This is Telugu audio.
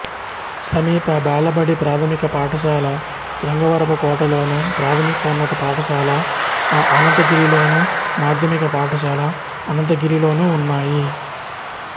సమీప బాలబడి ప్రాథమిక పాఠశాల శృంగవరపుకోటలోను ప్రాథమికోన్నత పాఠశాల అనంతగిరిలోను మాధ్యమిక పాఠశాల అనంతగిరిలోనూ ఉన్నాయి